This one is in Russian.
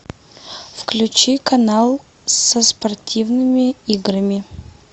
включи канал со спортивными играми